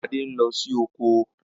Ade n lo si oko.